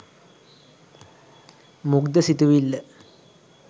මුග්ධ සිතිවිල්ල